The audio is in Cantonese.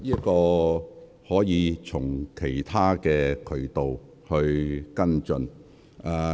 這方面的事宜可以從其他渠道跟進。